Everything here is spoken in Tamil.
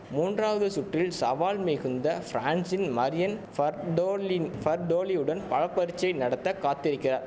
மூன்றாவது சுற்றில் சவால் மிகுந்த பிரான்சின் மரியன் பார்டோலின் பார்டோலியுடன் பலப்பரீட்சை நடத்த காத்திருக்கிற